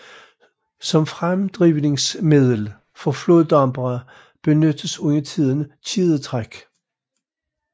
Som fremdrivningsmiddel for floddampere benyttes undertiden kædetræk